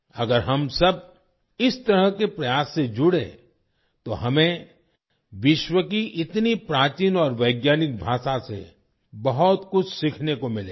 अगर हम सब इस तरह के प्रयास से जुड़ें तो हमें विश्व की इतनी प्राचीन और वैज्ञानिक भाषा से बहुत कुछ सीखने को मिलेगा